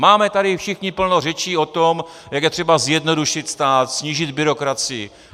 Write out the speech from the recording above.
Máme tady všichni plno řečí o tom, jak je třeba zjednodušit stát, snížit byrokracii.